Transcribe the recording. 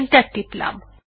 enter টিপলাম